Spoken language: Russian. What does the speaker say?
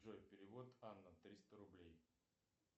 джой перевод анна триста рублей